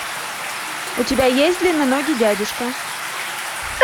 у тебя есть длинноногий дядюшка